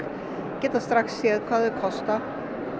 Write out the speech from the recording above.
geta strax séð hvað þau kosta